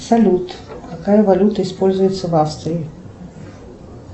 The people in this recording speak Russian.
салют какая валюта используется в австрии